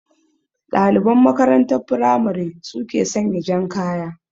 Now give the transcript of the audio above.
Ɗaliban makarantar firamare su ke sanya jan kaya